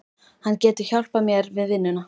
Hann getur hjálpað mér við vinnuna